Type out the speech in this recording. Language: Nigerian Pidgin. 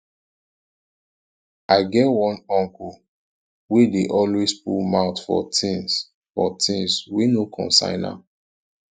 i get one uncle wey dey always put mouth for tins mouth for tins wey no concern am